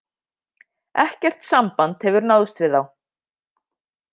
Ekkert samband hefur náðst við þá